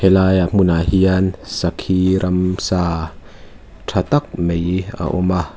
helaia hmunah hian sakhi ramsa tha tak mai a awm a.